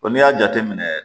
n'i y'a jateminɛ